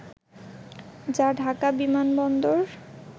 যা ঢাকা বিমানবন্দর